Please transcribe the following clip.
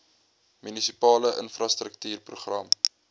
munisipale infrastruktuur program